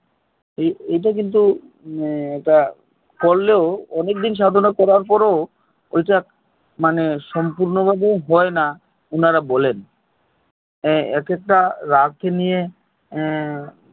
এই এইটা কিন্তু মানে ইটা করলেও অনেক দিন সাধনা করার পরেও মানে সম্পূর্ণভাবে হয় না উনারা বলেন হু এক একটা রাগ নিয়ে